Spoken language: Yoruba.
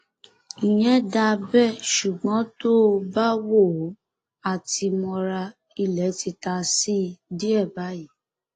ìyẹn dáa bẹẹ ṣùgbọn tó o bá wò ó á ti mọra ilé ti ta sí i díẹ báyìí